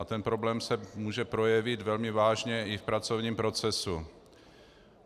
A ten problém se může projevit velmi vážně i v pracovním procesu.